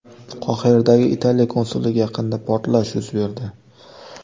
Qohiradagi Italiya konsulligi yaqinida portlash yuz berdi.